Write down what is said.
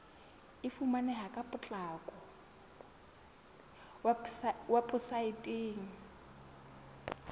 e fumaneha ka potlako weposaeteng